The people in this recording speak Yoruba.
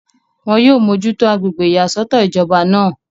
wọn yóò mójútó agbègbè ìyàsọ́tọ̀ ìjọba náà